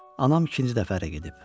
Anam ikinci dəfə ərə gedib.